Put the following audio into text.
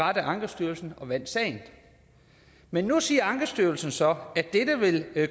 ret af ankestyrelsen og vandt sagen men nu siger ankestyrelsen så at det vil